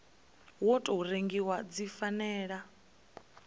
wa tou rengiwa dzi fanela